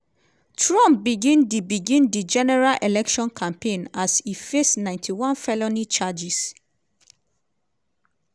trump begin di begin di general election campaign as e face 91 felony charges.